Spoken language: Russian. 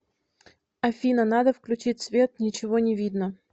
афина надо включить свет ничего не видно